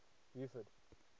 beaufort